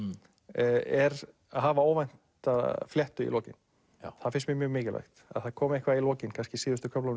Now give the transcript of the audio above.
er að hafa óvænta fléttu í lokin það finnst mér mikilvægt að það komi eitthvað í lokin kannski í síðustu köflunum